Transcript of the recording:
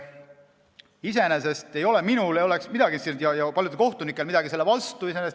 Iseenesest ei oleks minul ja paljudel kohtunikel midagi selle vastu.